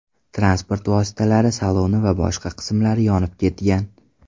Transport vositalari saloni va boshqa qismlari yonib ketgan.